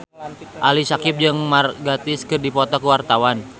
Ali Syakieb jeung Mark Gatiss keur dipoto ku wartawan